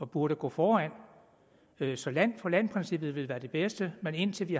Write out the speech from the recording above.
burde gå foran så land for land princippet vil være det bedste men indtil vi